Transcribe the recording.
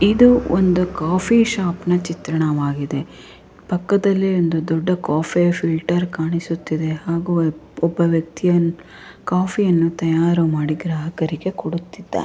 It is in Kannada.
ಇದು ಒಂದು ಕಾಫಿ ಶಾಪ್ ನ ಚಿತ್ರಣವಾಗಿದೆ ಪಕ್ಕದಲ್ಲಿ ಒಂದು ದೊಡ್ಡ ಕಾಫಿ ಫಿಲ್ಟರ್ ಕಾಣಿಸುತಿದೆ ಹಾಗೆ ಒಬ್ಬ ವ್ಯಕ್ತಿ ಕಾಫಿ ಯನ್ನು ತಯಾರು ಮಾಡಿ ಗ್ರಾಹಕರಿಗೆ ಕೊಡುತ್ತಿದ್ದಾ --